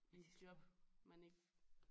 I et job man ikke